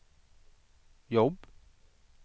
jobb